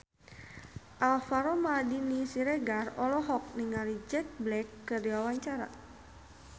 Alvaro Maldini Siregar olohok ningali Jack Black keur diwawancara